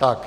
Tak.